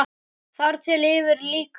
Þar til yfir lýkur.